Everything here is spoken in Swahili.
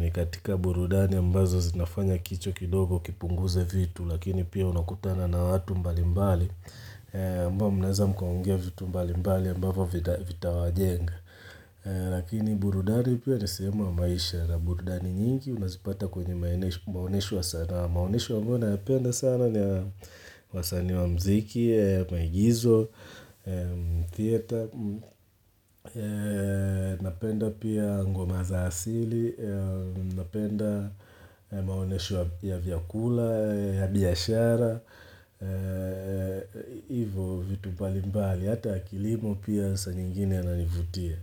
ni katika burudani ambazo zinafanya kichwa kidogo kipunguze vitu. Lakini pia unakutana na watu mbali mbali amba mnaweza mkaongea vitu mbali mbali ambavyo vita wa jenga Lakini burudani pia nisema maisha Burudari nyingi unazipata kwenye maonesho wa sanaa maonesho ambayo nayapenda sana ni ya wasanii wa mziki, maigizo, theater Napenda pia ngomaza asili Napenda maonesho ya vyakula ya biyashara hivyo vitu mbali mbali hata ya kilimo pia sanyingine yananivutia.